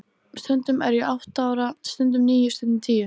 Stundum er ég átta ára, stundum níu, stundum tíu.